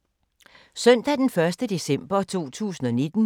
Søndag d. 1. december 2019